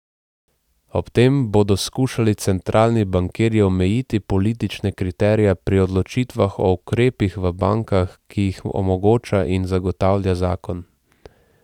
Ob tem bodo skušali centralni bankirji omejiti politične kriterije pri odločitvah o ukrepih v bankah, ki jih omogoča in zagotavlja zakon.